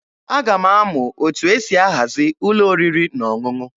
Aga m amụ etu esi ahazi ụlọ oriri na ọṅụṅụ.